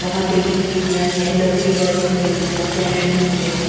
वहां पे भी सीढ़ियां है लकड़ियां दिख रही है सैंड नीचे है।